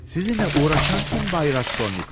Sizinlə uğraşan kim bəy Raskolnikov?